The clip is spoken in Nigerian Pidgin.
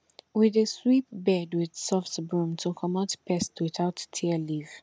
we dey sweep bed with soft broom to comot pest without tear leaf